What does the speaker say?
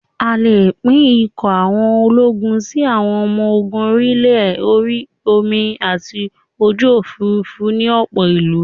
A lè pín ikọ̀ àwọn ológun sí: Àwọn ọmọ ogun orí-ilẹ̀, orí omi àti ojú òfuurufú ni ọ̀pọ̀ ìlú